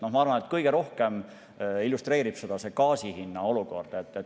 Ma arvan, et kõige rohkem illustreerib seda gaasi hinna olukord.